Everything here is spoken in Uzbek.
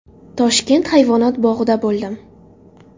Toshkent hayvonot bog‘ida bo‘ldim.